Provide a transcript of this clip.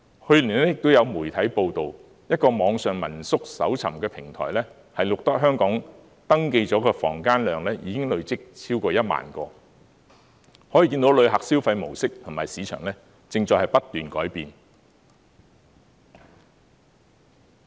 去年亦有媒體報道，一個網上民宿搜尋的平台，錄得香港已登記的房問量，累積超過1萬個，可見旅客的消費模式及市場，正在不斷改變。